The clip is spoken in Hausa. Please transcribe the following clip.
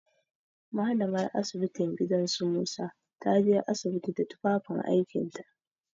Mallamar asibitin gidan su Musa ta je asibiti da tufafin aikinta.